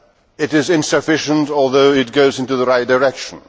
It is insufficient, although it goes in the right direction.